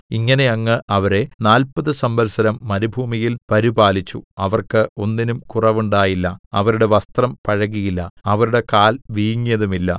ഇങ്ങനെ അങ്ങ് അവരെ നാല്പത് സംവത്സരം മരുഭൂമിയിൽ പരിപാലിച്ചുഅവർക്ക് ഒന്നിനും കുറവുണ്ടായില്ല അവരുടെ വസ്ത്രം പഴകിയില്ല അവരുടെ കാൽ വീങ്ങിയതുമില്ല